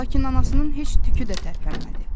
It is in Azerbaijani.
Lakin anasının heç tükü də tərpənmədi.